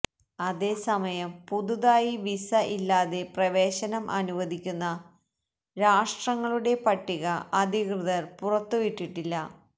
അതേസമയം പുതുതായി വീസ ഇല്ലാതെ പ്രവേശനം അനുവദിക്കുന്ന രാഷ്ട്രങ്ങളുടെ പട്ടിക അധികൃതർ പുറത്തുവിട്ടിട്ടില്ല